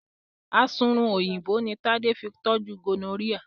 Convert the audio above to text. Asunrun Òyìnbó ní Tade fí toju gonorrhea.